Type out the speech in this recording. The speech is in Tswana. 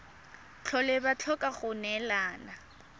tlhole ba tlhoka go neelana